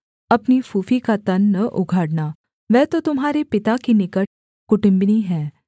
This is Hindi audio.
अपनी फूफी का तन न उघाड़ना वह तो तुम्हारे पिता की निकट कुटुम्बिनी है